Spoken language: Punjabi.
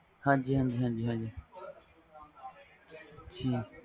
imagine ਡਰਦੇ ਨਾਲ ਨਾਲ ਬਾਕੀ ਹੋਰ ਕੁਛ ਨਹੀਂ